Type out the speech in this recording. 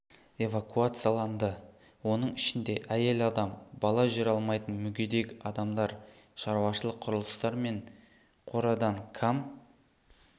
эвакуацияланды оның ішінде әйел адам бала жүре алмайтын мүгедек адамдар шаруашылық құрылыстар мен қорадан кам